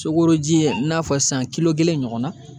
Sokoji i n'a fɔ sisan kelen ɲɔgɔnna